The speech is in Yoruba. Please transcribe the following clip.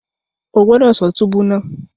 O gbọdọ ṣọ túbú náà!